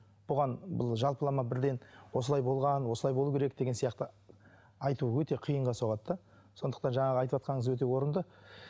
бұған бұл жалпымалама бірден осылай болған осылай болу керек деген сияқты айту өте қиынға соғады да сондықтан жаңағы айтыватқаныңыз өте орында